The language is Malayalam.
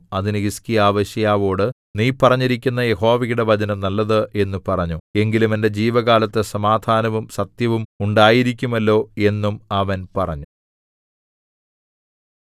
അതിന് ഹിസ്കീയാവ് യെശയ്യാവോട് നീ പറഞ്ഞിരിക്കുന്ന യഹോവയുടെ വചനം നല്ലത് എന്നു പറഞ്ഞു എങ്കിലും എന്റെ ജീവകാലത്തു സമാധാനവും സത്യവും ഉണ്ടായിരിക്കുമല്ലോ എന്നും അവൻ പറഞ്ഞു